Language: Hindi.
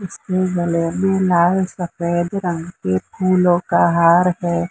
उसके गलो मे लाल सफेद रंग के फूलों का हार है।